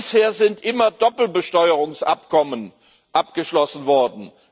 Bisher sind immer Doppelbesteuerungsabkommen abgeschlossen worden.